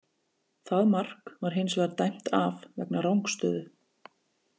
Það mark var hins vegar dæmt af vegna rangstöðu.